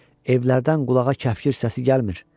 Evlərdən qulağa kəfkür səsi gəlmir.